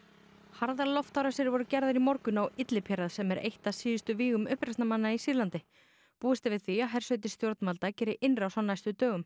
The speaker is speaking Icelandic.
harðar loftárásir voru gerðar í morgun á Idlib hérað sem eitt af síðustu vígum uppreisnarmanna í Sýrlandi búist er við því að hersveitir stjórnvalda geri innrás á næstu dögum